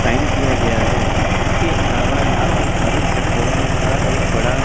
sign किया गया है उसके अलावा यहां पर भारत पेट्रोलियम का एक बड़ा--